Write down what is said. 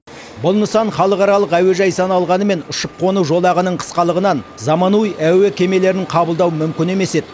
бұл нысан халықаралық әуежай саналғанымен ұшып қону жолағының қысқалығынан заманауи әуе кемелерін қабылдау мүмкін емес еді